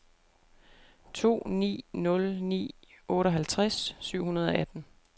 to ni nul ni otteoghalvtreds syv hundrede og atten